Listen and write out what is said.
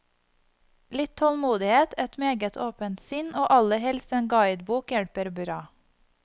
Litt tålmodighet, et meget åpent sinn og aller helst en guidebok hjelper bra.